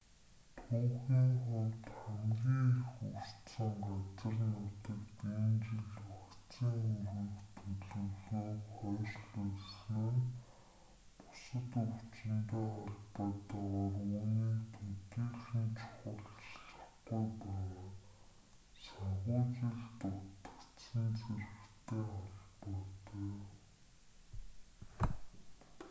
түүхийн хувьд хамгийн их өртсөн газар нутагт энэ жил вакцин хүргэх төлөвлөгөөг хойшлуулсан нь бусад өвчинтэй холбоотойгоор үүнийг төдийлөн чухалчлахгүй байгаа санхүүжилт дутагдсан зэрэгтэй холбоотой